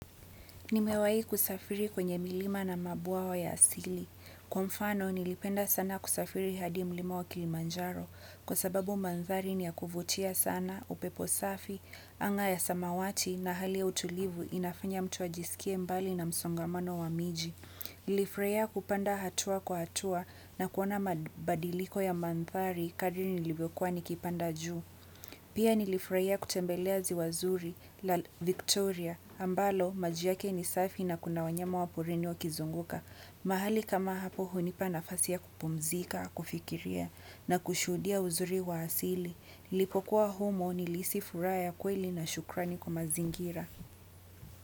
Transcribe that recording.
Nimewai kusafiri kwenye milima na mabuawa ya asili. Kwa mfano, nilipenda sana kusafiri hadi mlima wa Kilimanjaro. Kwa sababu manthari ni ya kuvutia sana, upepo safi, anga ya samawati na hali ya utulivu inafanya mtu ajisikie mbali na msongamano wa miji. Nilifurahia kupanda hatua kwa hatua na kuona mabadiliko ya manthari kadri nilivyokuwa nikipanda ju. Pia nilifurahia kutembelea ziwa zuri la Victoria ambalo maji yake ni safi na kuna wanyama wa porini wa kizunguka. Mahali kama hapo hunipa nafasi ya kupumzika, kufikiria na kushuhudia uzuri wa asili. Nilipokuwa humu nilihisi furaha ya kweli na shukrani kwa mazingira.